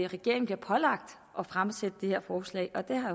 regeringen bliver pålagt at fremsætte det her forslag og det har